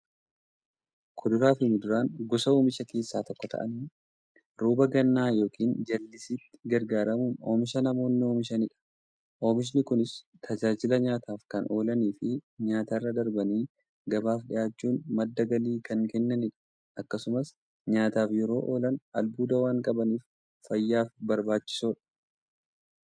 Kuduraafi muduraan gosa oomishaa keessaa tokko ta'anii, rooba gannaa yookiin jallisiitti gargaaramuun oomisha namoonni oomishaniidha . Oomishni Kunis, tajaajila nyaataf kan oolaniifi nyaatarra darbanii gabaaf dhiyaachuun madda galii kan kennaniidha. Akkasumas nyaataf yeroo oolan, albuuda waan qabaniif, fayyaaf barbaachisoodha.